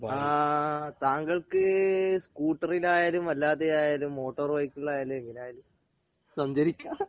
അആഹ് താങ്കൾക്ക് സ്കൂട്ടറിലായാലും അല്ലാതെയായാലും മോട്ടോർ ബൈക്കിലായാലും എങ്ങനെയായാലും സഞ്ചരിക്കാം